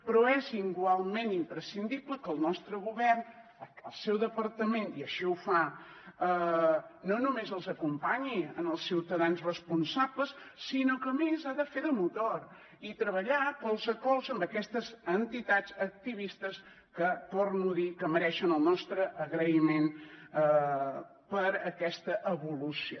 però és igualment imprescindible que el nostre govern el seu departament i així ho fa no només els acompanyi als ciutadans responsables sinó que a més ha de fer de motor i treballar colze a colze amb aquestes entitats activistes que ho torno a dir mereixen el nostre agraïment per aquesta evolució